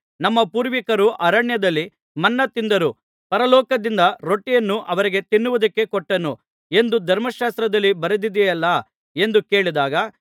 ನಮ್ಮ ಪೂರ್ವಿಕರು ಅರಣ್ಯದಲ್ಲಿ ಮನ್ನಾ ತಿಂದರು ಪರಲೋಕದಿಂದ ರೊಟ್ಟಿಯನ್ನು ಅವರಿಗೆ ತಿನ್ನುವುದಕ್ಕೆ ಕೊಟ್ಟನು ಎಂದು ಧರ್ಮಶಾಸ್ತ್ರದಲ್ಲಿ ಬರೆದಿದೆಯಲ್ಲಾ ಎಂದು ಕೇಳಿದಾಗ